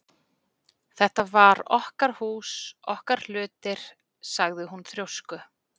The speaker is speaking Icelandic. Þetta var okkar hús, okkar hlutir- sagði hún þrjósku